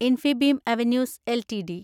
Infibeam Avenues LTD